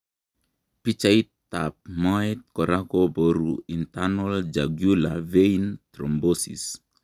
Pichaitab moet kora koboru internal Jugular Vein thrombosis.